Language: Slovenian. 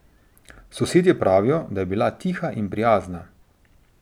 Sosedje pravijo, da je bila tiha in prijazna.